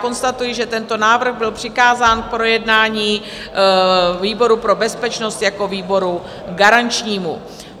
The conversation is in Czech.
Konstatuji, že tento návrh byl přikázán k projednání výboru pro bezpečnost jako výboru garančnímu.